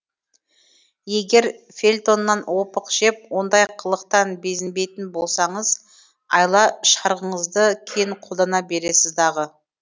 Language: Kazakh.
егер фельтоннан опық жеп ондай қылықтан безінбейтін болсаңыз айла шарғыңызды қолдана бересіз дағы